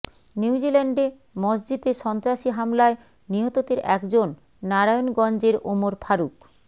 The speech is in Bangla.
নিউ জিল্যান্ডে মসজিদে সন্ত্রাসী হামলায় নিহতদের একজন নারায়ণগঞ্জের ওমর ফারুক